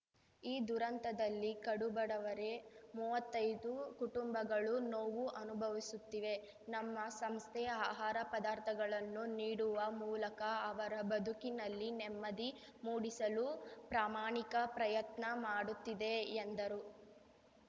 ಈ ದುರಂತದಲ್ಲಿ ಕಡುಬಡವರೇ ಮೂವತ್ತೈದು ಕುಟುಂಬಗಳು ನೋವು ಅನುಭವಿಸುತ್ತಿವೆ ನಮ್ಮ ಸಂಸ್ಥೆಯ ಆಹಾರ ಪದಾರ್ಥಗಳನ್ನು ನೀಡುವ ಮೂಲಕ ಅವರ ಬದುಕಿನಲ್ಲಿ ನೆಮ್ಮದಿ ಮೂಡಿಸಲು ಪ್ರಾಮಾಣಿಕ ಪ್ರಯತ್ನ ಮಾಡುತ್ತಿದೆ ಎಂದರು